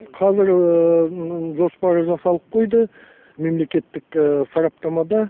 қазір жоспар жасалып қойды мемлекеттік сараптамада